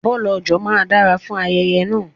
Bọ̀lọ̀jọ̀ máa dára fún ayẹyẹ náà.